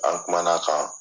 An kumana kan